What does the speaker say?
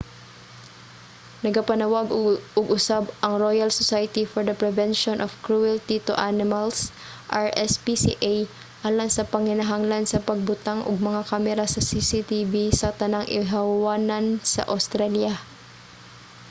nagapanawag og usab ang royal society for the prevention of cruelty to animals rspca alang sa panginahanglan sa pagbutang og mga kamera sa cctv sa tanang ihawanan sa awstralya